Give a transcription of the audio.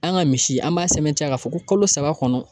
An ka misi an b'a sɛmɛntiya k'a fɔ ko kalo saba kɔnɔ